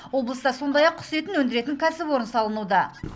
облыста сондай ақ құс етін өндіретін кәсіпорын салынуда